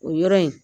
O yɔrɔ in